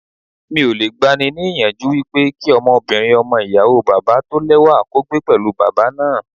Mi ò le gba ni ní ìyànjú wípé kí ọmọbìnrin ọmọ ìyàwó bàbá tó lẹ́wà kó gbé pẹ̀lú bàbá náà.